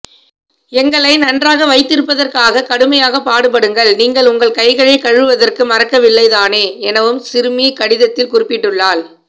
எங்களை நன்றாக வைத்திருப்பதற்காக கடுமையாக பாடுபடுங்கள் நீங்கள் உங்கள் கைகளை கழுவுவதற்கு மறக்கவில்லை தானே எனவும் சிறுமி கடிதத்தில் குறிப்பிட்டுள்ளால்